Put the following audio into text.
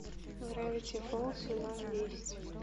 гравити фолз сезон десять